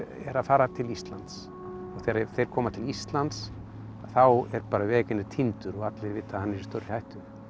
er að fara til Íslands þegar þeir koma til Íslands þá er týndur og allir vita að hann er í stórri hættu